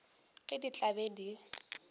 ge di tla be di